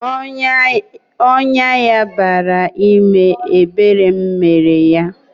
Ọnyá ya bara ime, ebere m mere yá